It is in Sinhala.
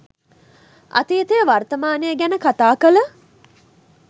අතීතය වර්තමානය ගැන කතා කල